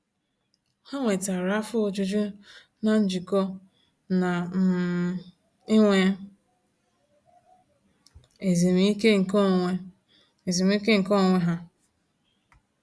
Ha nwetara afọ ojuju n'ijikọ na um inwe ezumiike nke onwe ezumiike nke onwe ha.